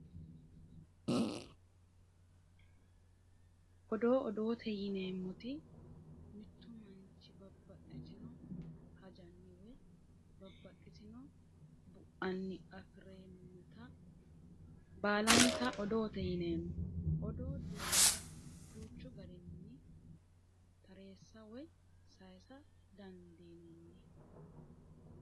Odoo odoote yineemmoti mittu manchi babbaxxitino hajanni woyi babbaxxitino bu'anni afi'neemmota baalanta odoote yineemmo odoo duuchu garinni tareessa woyi saysa dandiinanni